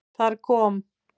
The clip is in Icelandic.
Þar kom